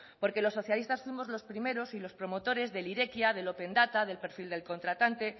porque los socialistas fuimos los primeros y los promotores de irekia de open data del perfil del contratante